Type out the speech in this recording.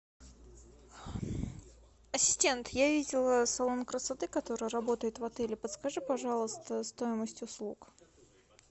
ассистент я видела салон красоты который работает в отеле подскажи пожалуйста стоимость услуг